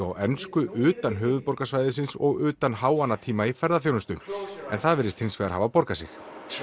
á ensku utan höfuðborgarsvæðisins og utan háannatíma í ferðaþjónustu en það virðist hins vegar hafa borgað sig